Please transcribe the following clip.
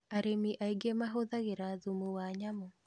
Arĩmi aingĩ mahũthĩraga thumu wa nyamũ